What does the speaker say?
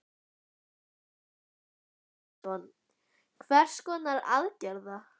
Magnús Geir Eyjólfsson: Hvers konar aðgerða?